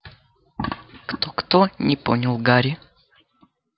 кто-кто не понял гарри